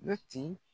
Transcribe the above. Mɛti